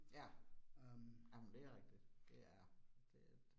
Ja. Jamen det rigtigt, det er, det et